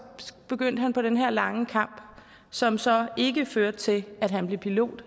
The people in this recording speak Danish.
begyndte han på den her lange kamp som så ikke førte til at han blev pilot